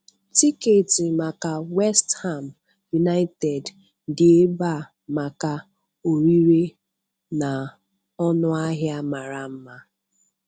Tiketi maka West Ham United dị ebe a maka ọrịre na ọnụ ahịa mara mma.